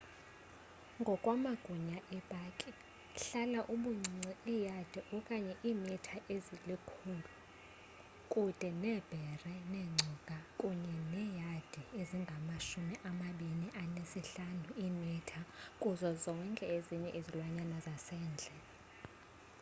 ngokwamagunya epaki hlala ubuncinci iiyadi/iimitha ezili-100 kude neebhere neengcuka kunye neeyadi ezingama-25/iimitha kuzo zonke ezinye izilwanyana zasendle!